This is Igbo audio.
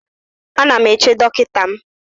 Ana m eche dọkịta m